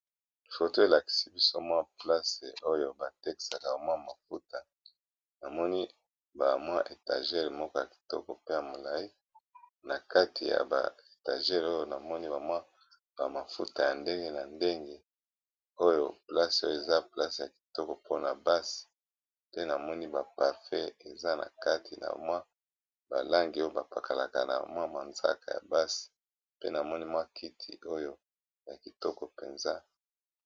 foto elakisi biso mwa place oyo batekaka mwa mafuta namoni ba mwa etagele moko ya kitoko pe ya molai na kati ya ba etagele oyo namoni bamwa bamafuta ya ndenge na ndenge oyo place oyo eza place ya kitoko mpona bassi pe namoni bapafe eza na kati na mwa balangi oyo bapakalaka na mwa manzaka ya bassi pe namoni mwa kiti oyo ya kitoko mpenza